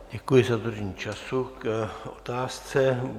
Děkuji za dodržení času k otázce.